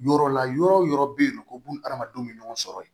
Yɔrɔ la yɔrɔ yɔrɔ bɛ ye nɔ ko buna hadamadenw bɛ ɲɔgɔn sɔrɔ yen